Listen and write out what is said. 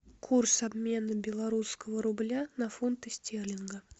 курс обмена белорусского рубля на фунты стерлинга